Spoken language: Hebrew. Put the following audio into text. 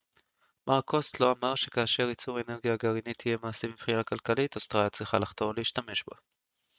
מר קוסטלו אמר שכאשר ייצור האנרגיה הגרעינית יהיה מעשי מבחינה כלכלית אוסטרליה צריכה לחתור להשתמש בה